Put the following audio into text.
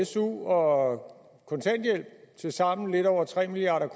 su og kontanthjælp til sammen lidt over tre milliard